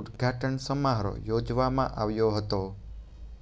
ઉદ્દઘાટન સમારોહ યોજવામાં આવ્યો હતો